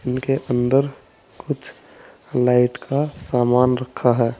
इनके अंदर कुछ लाइट का सामान रखा है।